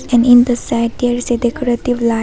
And in the side there is a decorative li --